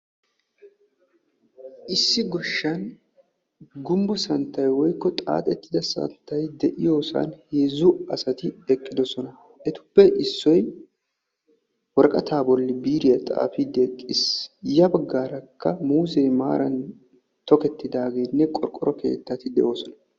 issi goshshan gumbbo santtay woykko xaattida santtay des.